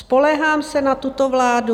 Spoléhám se na tuto vládu?